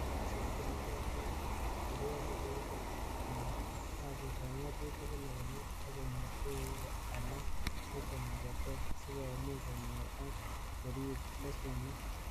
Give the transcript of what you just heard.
Cheyoe kasit komogotin kocher ripotit an kasitab ngatutik kila kenyit ak konyor tuguk alk chechang che ter, sikomuch konyor ak koriib leshenit.